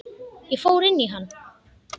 Ég fór inn í hana.